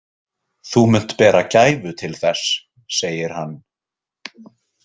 Þú munt bera gæfu til þess, segir hann.